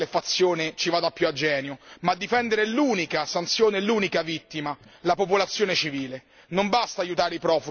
Non dobbiamo scegliere quale fazione ci vada più a genio, ma difendere l'unica fazione e l'unica vittima la popolazione civile.